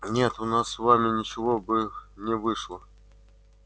нет у нас с вами ничего бы не вышло